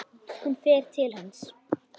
Hún fer til hans.